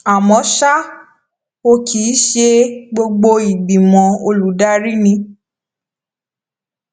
àmó ṣá o kì í ṣe gbogbo ìgbìmọ olùdarí ni